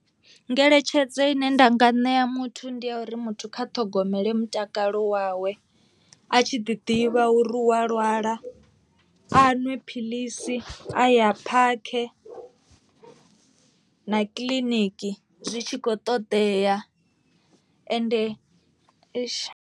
Ngeletshedzo ine nda nga ṋea muthu ndi ya uri muthu kha ṱhogomele mutakalo wawe, a tshi ḓi ḓivha uri u a lwala a nwe philisi a ya phakhe na kiḽiniki zwi tshi kho ṱoḓea ende .